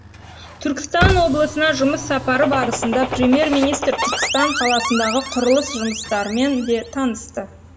түркістан облысына жұмыс сапары барысында премьер министр түркістан қаласындағы құрылыс жұмыстармен де танысты